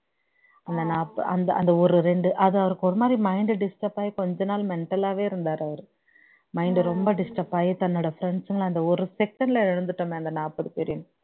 அந்த நாற்பது அந்த அந்த ஒரு இரண்டு அது அவருக்கு ஒரு மாதிரி mind disturb ஆகி கொஞ்ச நாள் mental ஆவே இருந்தார் அவர் mind ரொம்ப disturb ஆகி தன்னோட friends களை ஒரு second ல இழந்துட்டோமே அந்த நாற்பது பேரையும்